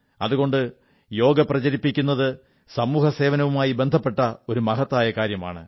അതുകൊണ്ട് യോഗ പ്രചരിപ്പിക്കുന്നത് സമൂഹസേവനവുമായി ബന്ധപ്പെട്ട ഒരു മഹത്തായ കാര്യമാണ്